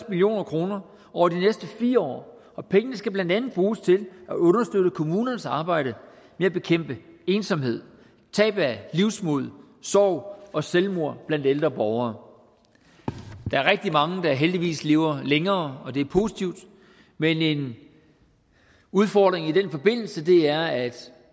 million kroner over de næste fire år og pengene skal blandt andet bruges til at understøtte kommunernes arbejde med at bekæmpe ensomhed tab af livsmod sorg og selvmord blandt ældre borgere der er rigtig mange der heldigvis lever længere og det er positivt men en udfordring i den forbindelse er at